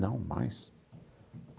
Não, mais.